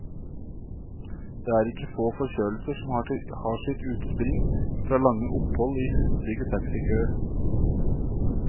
Det er ikke få forkjølelser som har sitt utspring fra lange opphold i hustrige taxikøer.